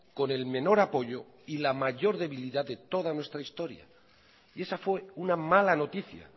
con el menor apoyo y la mayor debilidad de toda nuestra historia y esa fue una mala noticia